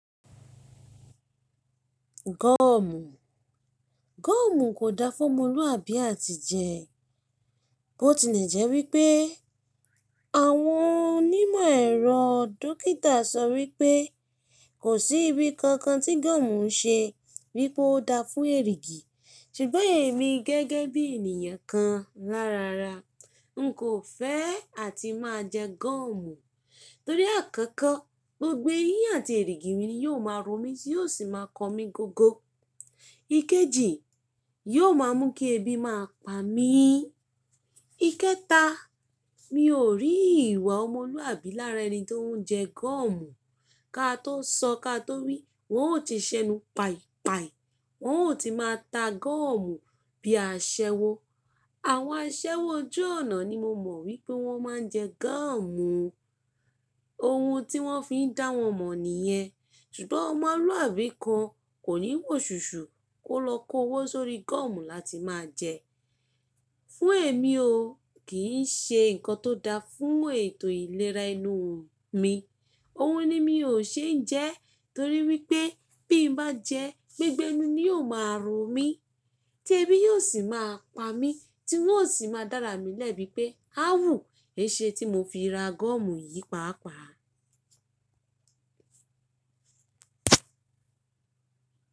Gọ́ọ̀mù. Gọ́ọ̀mù kò da fún ọmọlúàbí à ti jẹ ẹ́. Bó ti lẹ̀ jẹ́ wípé àwọn onímọ̀ ẹ̀rọ dókítà sọ wípé kò sí ibi kankan tí gọ́ọ̀mù ń ṣe wípe ó da fún èrìgì. Ṣùgbọ́n èmi gẹ́gẹ́ bí ènìyàn kan lárara, n kò fẹ́ à ti máa jẹ gọ́ọ̀mù. Torí àkọ́kọ́ gbogbo eyín àti èrìgì mi ni yóò máa rùn mi tí yóò sì máa kọ mí gogo. Ikejì, yóò máa mú kí ebi máa pa mí. Ikẹta, mi ò rí ìwà ọmọlúàbí lára ẹni tó ń jẹ gọ́ọ̀mù. Ka tó sọ ka tó wí, wọ́n ó ti ṣẹnu pai pai. Wọ́n ó ti máa ta gọ́ọ̀mù bí i aṣẹ́wó. Àwọn aṣẹ́wó ojú ọ̀nà ni mo mọ̀ wípé wọ́n máa ń jẹ gọ́ọ̀mù. Ohun tí wọ́n fi ń dá wọn mọ̀ nìyẹn. Ṣùgbọ́n ọmọlúàbí kan kò ní wòṣùṣù kó lọ kówó sórí gọ́ọ̀mù láti máa jẹ ẹ́. Fún èmi o, kì í ṣe nǹkan tó da fún ètò ìlera enú mi. Ohun ni mi ò ṣe ń jẹ ẹ́ torí wípé bí n bá jẹ ẹ́, gbogbo ẹnu ni yóò máa ro mi tí ebi yóò sì máa pa mí tí n ó sì máa dára mi lẹ́bi pé, á wù ẹ ṣe tí mo fi ra gọ́ọ̀mù yìí pàápàá?